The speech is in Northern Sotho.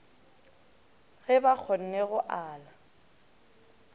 ge ba kgonne go ala